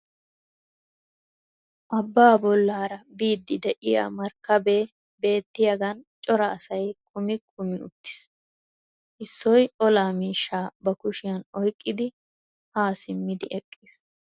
Abaa bollaara biidi de'iya markkabee beetiyagan cora asay kummi kummi uttiis. Issoy olaa miishshaa ba kushiya oyqqidi ha simmidi eqqiis.